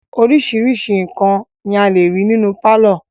Oríṣiríṣi nǹkan ni a lè rí nínú pálọ̀.